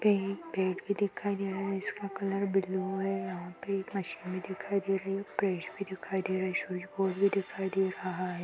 यहाँ पे एक पेड़ भी दिखाई दे रहा है जिसका कलर ब्लू हैं यहाँ पे एक मशीन भी दिखाई दे रही हैं प्रेस भी दिखाई दे रही है स्विच बोर्ड भी दिखाई दे रहा है।